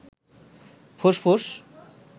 ফুসফুস